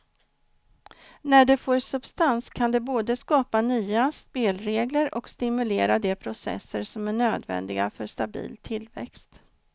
När det får substans kan det både skapa de nya spelregler och stimulera de processer som är nödvändiga för stabil tillväxt.